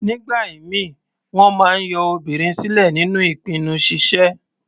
Nígbà ìmíì, wọ́n máa ń yọ obìnrin sílẹ̀ nínú ìpinnu ṣíṣe.